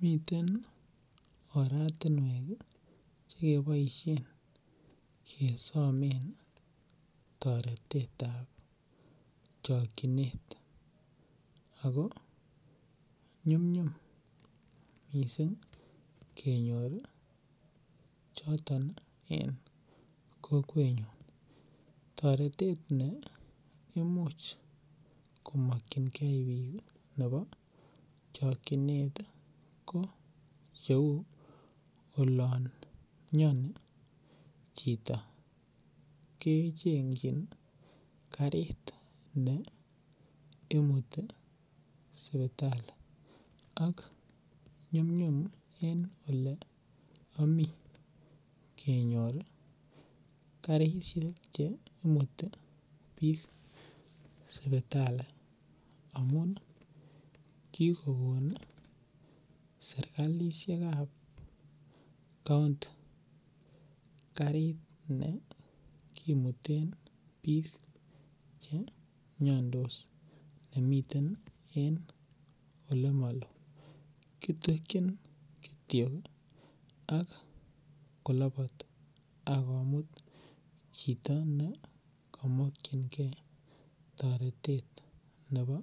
Miten oratinwek chekeboisien kesomen toretetab chokchinet ago nyumnyum mising kenyor choton en kokwenyun. Toretet ne imuch komakyinge biik nebo chokyinet ko cheu olamiani chito kechengjin karit ne imuti sipitali ak nyumnyum en oleami kenyor karisiek che imuti biik sipitali amun kikokon sergalisiekab kaonti karit ne kimuten biik che miandos nemiten en olemaloo. Kitwekyin kityok ak kolobot ak komut chito ne kamakyinge toretet nebo